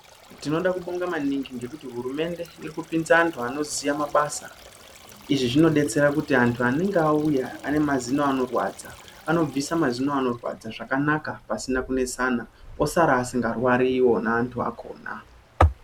Tinoda kubonga maningi ngekuti hurumende iri kupinza vantu vanoziya basa , izvi zvinobetsera kuti antu anenge auya ane mazino anorwadza anobvisa mazino anorwadza zvakanaka pasina kunesana osara asikarwari wona antu akona.